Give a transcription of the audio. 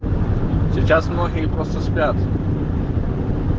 сейчас многие просто спят